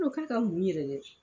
k'a ka mun yɛrɛ dɛ ?